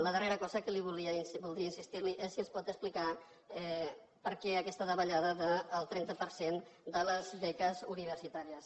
la darrera cosa en què li voldria insistir és si ens pot explicar per què aquesta davallada del trenta per cent de les beques universitàries